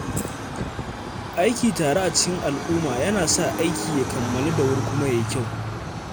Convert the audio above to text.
Aiki tare a cikin al’umma yana sa aiki ya kammalu da wuri kuma ya yi kyau